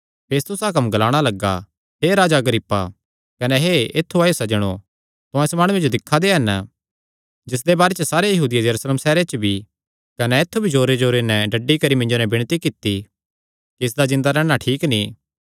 फेस्तुस हाकम ग्लाणा लग्गा हे राजा अग्रिप्पा कने हे ऐत्थु आएयो सज्जणो तुहां इस माणुये जो दिक्खा दे हन जिसदे बारे च सारेयां यहूदियां यरूशलेम सैहरे च भी कने ऐत्थु भी जोरेजोरे नैं डड्डी करी मिन्जो नैं विणती कित्ती कि इसदा जिन्दा रैहणा ठीक नीं